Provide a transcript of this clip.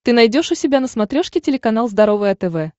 ты найдешь у себя на смотрешке телеканал здоровое тв